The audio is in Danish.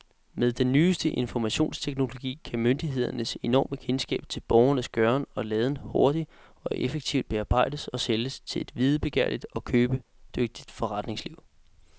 Med den nyeste informationsteknologi kan myndighedernes enorme kendskab til borgernes gøren og laden hurtigt og effektivt bearbejdes og sælges til et videbegærligt og købedygtigt forretningsliv.